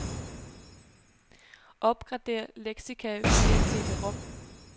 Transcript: Opgradér leksika via cd-rom.